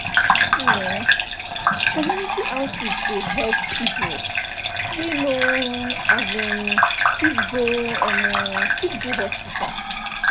see eh community outreach dey help people wey no um fit go um fit go hospital.